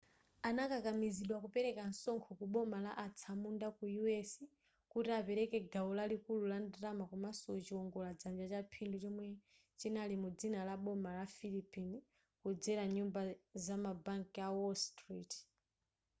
anakakamizidwa kupereka msonkho kuboma la atsamunda ku u s kuti apereke gawo lalikulu la ndalama komanso chiwongola dzanja cha phindu chomwe chinali mu dzina la boma la philippine kudzera nyumba zama banki a wall street